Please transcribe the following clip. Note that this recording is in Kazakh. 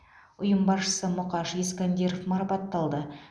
ұйым басшысы мұқаш искандиров марапатталды